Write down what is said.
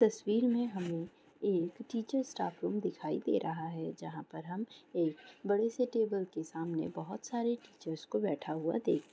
तस्वीर में हमें एक टीचर स्टाफ रूम दिखाई दे रहा है जहाँ पर हम एक बड़े से टेबल के सामने बहुत सारे टीचर्स को बैठा हुआ देख --